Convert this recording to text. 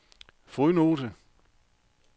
fodnote